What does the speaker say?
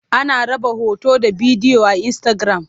Ana raba hoto da bidiyo a Insitagiram.